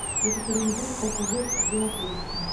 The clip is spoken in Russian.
екатеринбург пассажирский где находится